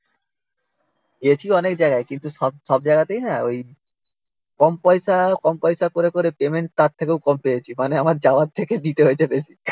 গেছি অনেক জায়গায় কিন্তু সব সব জায়গাতে না ওই কম পয়সা কম পয়সা করে করে পেমেন্ট তার থেকেও কম পেয়েছি মানে আমার যাওয়ার থেকে দিতে হয়েছে বেশি